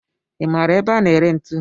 I maara ebe a na-ere ntu?